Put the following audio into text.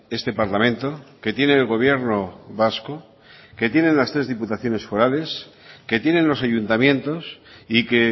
este parlamento que tiene el gobierno vasco que tienen las tres diputaciones forales que tienen los ayuntamientos y que